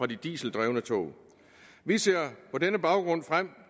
de dieseldrevne tog vi ser på denne baggrund frem